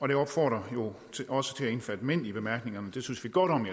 det opfordrer jo også til at omfatte mænd det står i bemærkningerne det synes vi godt om